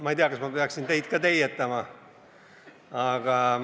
Ma ei tea, kas ma peaksin teid ka teietama.